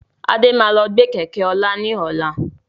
Adé máa lọ gbe Kẹ̀kẹ́ ọlá ni ọ̀la.